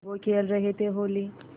वो खेल रहे थे होली